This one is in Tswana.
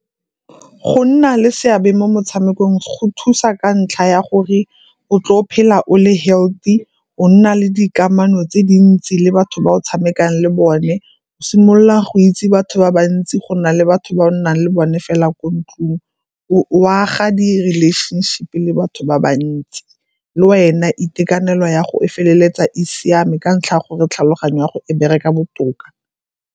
Go nna le seabe mo motshamekong go thusa ka ntlha ya gore o tlo phela o le healthy, o nna le dikamano tse dintsi le batho ba o tshamekang le bone, o simolola go itse batho ba ba ntsi go na le batho ba nnang le bone fela ko ntlong, o a ga di-relationship-e le batho ba ba ntsi. Le wena itekanelo ya go e feleletsa e siame ka ntlha ya gore tlhaloganyo ya go e bereka botoka.